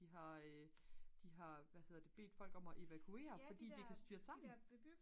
de har de har bedt folk om at evakuere fordi det kan styrte sammen